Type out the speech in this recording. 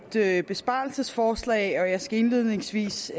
er et besparelsesforslag og jeg skal indledningsvis